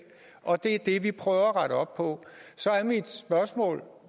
og det er det vi prøver at rette op på så er mit spørgsmål